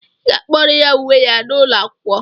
Ị ga-akpọrọ ya uwe ya n'ụlọ akwụkwọ!